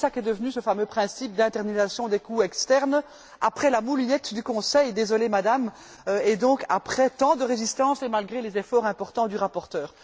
Voilà ce qu'est devenu ce fameux principe d'internalisation des coûts externes, après la moulinette du Conseil désolée Madame après tant de résistance, et malgré les efforts importants du rapporteur.